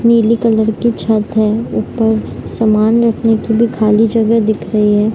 नीली कलर की छत है ऊपर सामान रखने की भी खाली जगह दिख रही है।